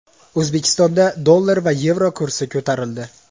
O‘zbekistonda dollar va yevro kursi ko‘tarildi.